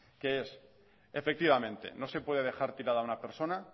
que es efectivamente no se puede dejar tirada a una persona